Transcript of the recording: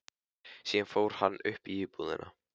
Síðan fór hann upp í íbúðina.